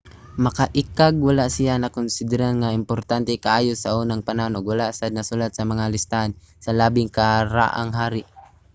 makaiikag wala siya nakonsidera nga importante kaayo saunang panahon ug wala sad nasulat sa mga listahan sa labing karaang hari